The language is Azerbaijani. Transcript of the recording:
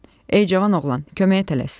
Ey cavan oğlan, köməyə tələs!